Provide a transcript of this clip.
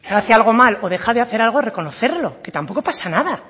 hace algo mal o deja de hacer algo es reconocerlo que tampoco pasa nada